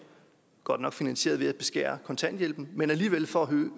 godt nok finansieret ved at beskære kontanthjælpen men alligevel for at